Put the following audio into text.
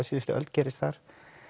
síðust öld gerðust þar